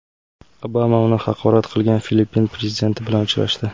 Obama uni haqorat qilgan Filippin prezidenti bilan uchrashdi.